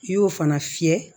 I y'o fana fiyɛ